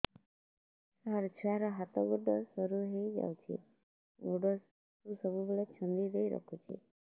ସାର ଛୁଆର ହାତ ଗୋଡ ସରୁ ହେଇ ଯାଉଛି ଗୋଡ କୁ ସବୁବେଳେ ଛନ୍ଦିଦେଇ ରଖୁଛି